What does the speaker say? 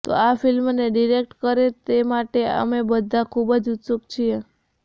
તે આ ફિલ્મને ડિરેક્ટ કરે તે માટે અમે બધા ખૂબ ઉત્સુક છીએ